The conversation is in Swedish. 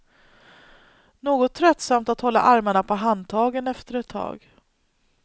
Något tröttsamt att hålla armarna på handtagen efter ett tag.